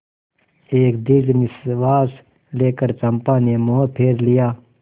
एक दीर्घ निश्वास लेकर चंपा ने मुँह फेर लिया